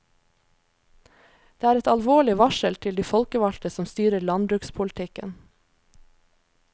Det er et alvorlig varsel til de folkevalgte som styrer landbrukspolitikken.